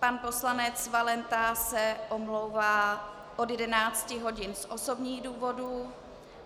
Pan poslanec Valenta se omlouvá od 11 hodin z osobních důvodů.